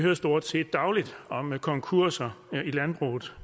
nu stort set dagligt om konkurser i landbruget